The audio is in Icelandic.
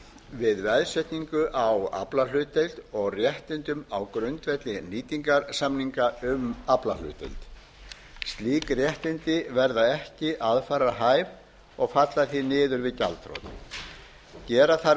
við veðsetningu á aflahlutdeild og réttindum á grundvelli nýtingarsamninga um aflahlutdeild slík réttindi verða ekki aðfararhæf og falla því niður við gjaldþrotið gera þarf